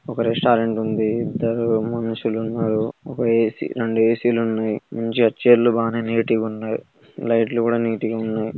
ఇక్కడ ఒక రెస్టారెంట్ ఉంది ఇద్దరు మనుషులు ఉన్నారు ఒక ఏ_సి రెండు ఏ_సీలు ఉన్నాయి చైర్ లు బాగా మంచిగా నీట్ గా ఉన్నాయి. లైట్లు కూడా నీట్ గా ఉన్నాయి.